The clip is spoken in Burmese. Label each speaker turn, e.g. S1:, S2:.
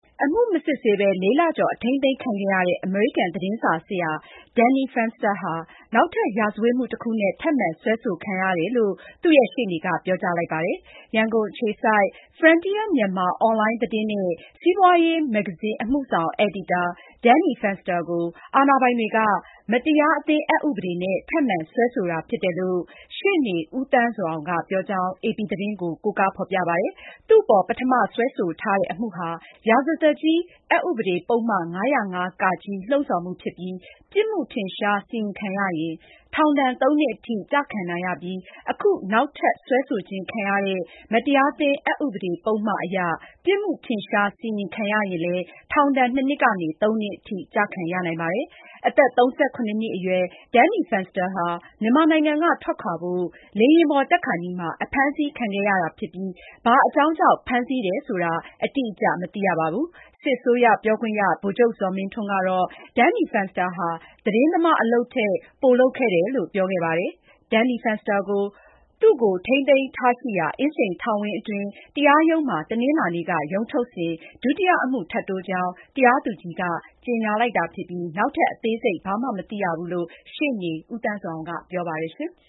S1: အမှုမစစ်ဆေးပဲ ၄ လကျော် အထိန်းသိမ်းခံခဲ့ရတဲ့ အမေရိကန် သတင်းစာဆရာ Danny Fenster ဟာ နောက်ထပ် ရာဇဝတ်မှု တခုနဲ့ ထပ်မံ စွဲဆိုခံရတယ်လို့ သူ့ရဲ့ ရှေ့နေက ပြောကြားလိုက်ပါတယ်။ ရန်ကုန်အခြေစိုက် Frontier Myanmar အွန်လိုင်း သတင်းနဲ့စီးပွါးရေး မဂ္ဂဇင်း အမှုဆောင် အယ်ဒီတာ Danny Fenster ကို အာဏာပိုင်တွေက မတရာအသင်းအက်ဥပဒေနဲ့ ထပ်မံစွဲဆိုတာ ဖြစ်တယ်လို့ ရှေ့နေ ဦးသန်းဇော်အောင်က ပြောကြောင်း AP သတင်းက ကိုးကား ဖေါ်ပြပါတယ်။ သူ့အပေါ် ပထမစွဲဆိုထားတဲ့ အမှုဟာ ရာဇသတ်ကြီး အက်ဥပဒေ ပုဒ်မ ၅၀၅ - (က) လှုံ့ဆော်မှု ဖြစ်ပြီး ပြစ်မှုထင်ရှား စီရင်ခံရရင် ထောင်ဒဏ် ၃ နှစ်အထိ ကျခံရနိုင်ပြီး အခု နောက်ထပ် စွဲဆိုခြင်း ခံရတဲ့ မတရားသင်း အက်ဥပဒေ ပုဒ်မ အရ ပြစ်မှု ထင်ရှား စီရင်ခံရရင်လည်း ထောင်ဒဏ် ၂ နှစ်က ၃ နှစ်အထိ ကျခံရနိုင်ပါတယ်။ အသက် ၃၇ နှစ်အရွယ် Danny Fenster ဟာ မြန်မာနိုင်ငံက ထွက်ခွါဖို့ လေယာဉ်ပေါ် တက်ခါနီးမှာ အဖမ်းဆီးခံခဲ့ရတာ ဖြစ်ပြီး ဘာအကြောင်းကြောင့် ဖမ်းဆီးတယ် ဆိုတာ အတိအကျ မသိခဲ့ရပါဘူး။ စစ်ကောင်စီ ပြောခွင့်ရ ဗိုလ်ချုပ်ဇော်မင်းထွန်းကတော့ “ သတင်းသမားဟာ သတင်းသမားအလုပ်ကို လုပ်ရင် ဖမ်းစရာ အကြောင်းမရှိဘူး။ Danny Fenster ဟာ သတင်းသမားအလုပ်ထက် ပိုလုပ်ခဲ့တယ်” လို့ ပြောခဲ့ပါတယ်။ Danny Fenster ကို သူ့ကို ထိန်းသိမ်းထားရှိရာ အင်းစိန်ထောင်ဝင်း အတွင်း တရားရုံးမှာ တနင်္လာနေ့က ရုံးထုတ်စဉ် ဒုတိယအမှု ထပ်တိုးကြောင်း တရားသူကြီးက ကြေညာလိုက်တာ ဖြစ်ပြီး နောက်ထပ် အသေးစိတ်ဘာမှ မသိရဘူးလို့လည်း ရှေ့နေ ဦးသန်းဇော်အောင်က ပြောပါတယ်။